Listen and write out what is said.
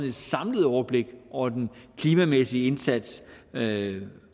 et samlet overblik over den klimamæssige indsats